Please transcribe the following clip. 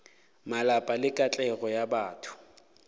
malapa le katlego ya batho